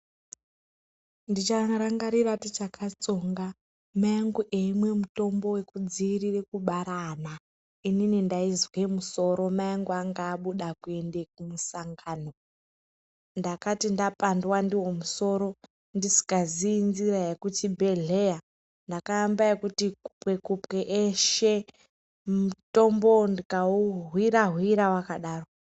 Ndicharangarira tichakatsonga, mai angu eimwe mutombo wekudziirire kubara ana, inini ndaizwe musoro, mai angu anga abuda kuende kumusangano, ndakati ndapandwa ndiwo musoro ndisingaziyi njira yekuchibhedhlera, ndakaamba ekuti kupe-kupe eshe, mutombowo ndikau hwira-hwira wakadaro.